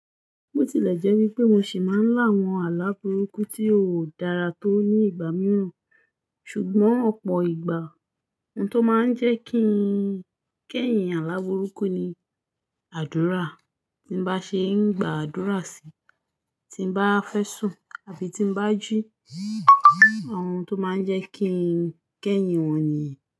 Bó tilẹ̀ jẹ́ wípé mo sì máa ń lá àwọn aláburúkú tí ó dára tó ní ìgbà mìíràn, ṣùgbọ́n ọ̀pọ̀ ìgbà ohun tó máa ń jẹ́ kí ń kẹ́yin aláburúkú ni àdúrà. Tí mo bá ṣe ń gba àdúrà síi, tí mo bá fẹ́ sùn àbí tí mo bá jí, àwọn ohun tó máa ń jẹ́ kí ń kẹ́yin wọ́n nìyí.